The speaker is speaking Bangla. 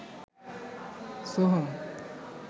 সোহম